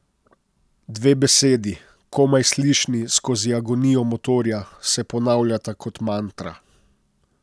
Dve besedi, komaj slišni skozi agonijo motorja, se ponavljata kot mantra.